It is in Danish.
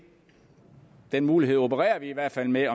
den mulighed opererer vi i hvert fald med